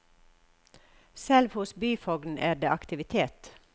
Selv hos byfogden er det aktivitet.